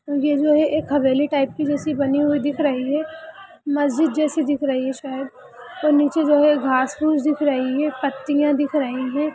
ये जो है एक हवेली टाइप की जैसी बनी हुई दिख रही है मस्जिद जैसी दिख रही है शायद और नीचे जो है घाँस-फूस दिख रही है पत्तियाँ दिख रही हैं |